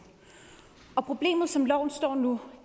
og problemet er som loven står nu